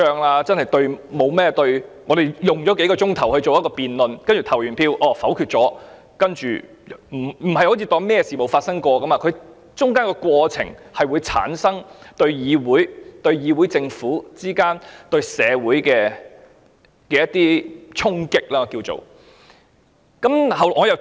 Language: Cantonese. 我們可以花數個小時進行辯論後投票否決議案，但我們不能當作沒有事發生過，中間的過程會對議會、政府及社會之間帶來衝擊。